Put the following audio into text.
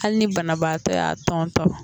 Hali ni banabaatɔ y'a tɔntɔn